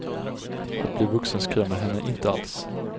Att bli vuxen skrämmer henne inte alls.